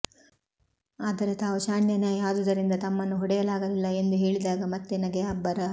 ಅದರೆ ತಾವು ಶಾಣ್ಯಾ ನಾಯಿ ಆದುದರಿಂದ ತಮ್ಮನ್ನು ಹೊಡೆಯಲಾಗಲಿಲ್ಲ ಎಂದು ಹೇಳಿದಾಗ ಮತ್ತೆ ನಗೆಯ ಅಬ್ಬರ